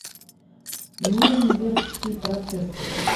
нюрнбергский процесс